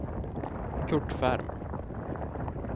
Curt Ferm